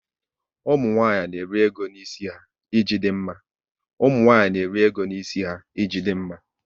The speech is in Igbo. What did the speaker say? Ụmụnwanyị n'eri ego n'isi ha, ị ji dị mma